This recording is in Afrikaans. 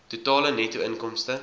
totale netto inkomste